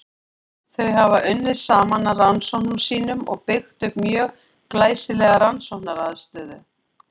Þar hafa þau unnið saman að rannsóknum sínum og byggt upp mjög glæsilega rannsóknaraðstöðu.